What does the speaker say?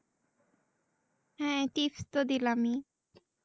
হ্যাঁ Tips দিলামি।